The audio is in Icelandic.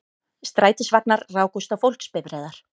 Strætisvagnar rákust á fólksbifreiðar